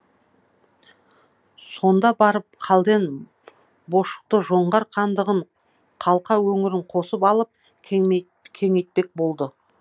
сонда барып қалден бошұқты жоңғар хандығын қалқа өңірін қосып алып кеңейтпек болды